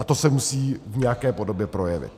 A to se musí v nějaké podobě projevit.